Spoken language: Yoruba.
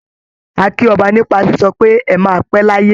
A kí ọba nípa sísọ pé "ẹ máa pé láyé".